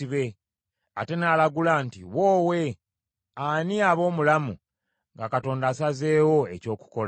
Ate n’alagula nti, “Woowe! Ani aba omulamu nga Katonda asazeewo eky’okukola?